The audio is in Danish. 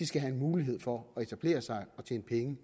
skal have mulighed for at etablere sig og tjene penge